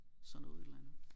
Sådan noget et eller andet